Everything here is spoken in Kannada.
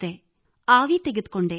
ಬಿಸಿನೀರಿನ ಆವಿ ತೆಗೆದುಕೊಂಡೆ